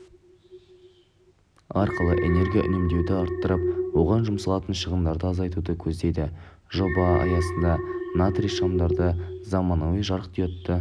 арқылы энергия үнемдеуді арттырып оған жұмсалатын шығындарды азайтуды көздейді жоба аясында натрий шамдарды заманауи жарықдиодты